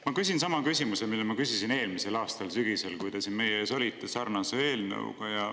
Ma küsin sama küsimuse, mille ma küsisin eelmisel aastal sügisel, kui te olite siin meie ees sarnase eelnõuga.